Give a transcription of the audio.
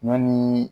Ɲɔni